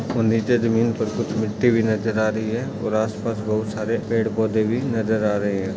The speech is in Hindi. और नीचे जमीन पर कुछ मीठी भी नजर आ रही है और आसपास बहुत सारे पड़े पौद भी नजर आ रहे है।